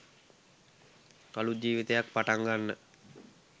අලුත් ජීවිතයක් පටන් ගන්න